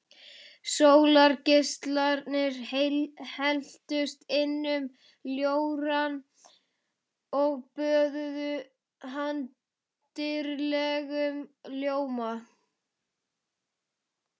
Sólargeislarnir helltust inn um ljórann og böðuðu hann dýrlegum ljóma.